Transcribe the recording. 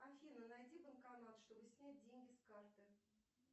афина найди банкомат чтобы снять деньги с карты